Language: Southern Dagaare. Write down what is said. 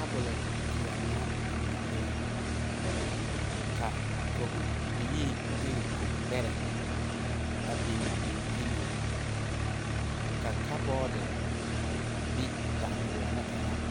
Tabol yelon bingɛɛ ka kɔg bilii ne kɔg beree a bin bin giluu ka kabodi bi danguoni engan